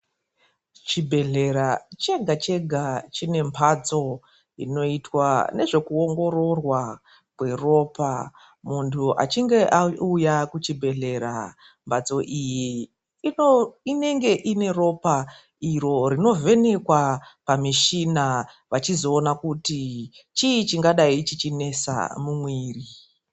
Chibhedhlera chega chega chine mhatso inoitwa nezvekuongororwa kweropa munhu achinge auya kuchibhedhlera. Mhatso iyi inenge ine ropa iro rinovhenekwa pamushina vachizoona kuti chii chingadayi chichinesa mumwiri.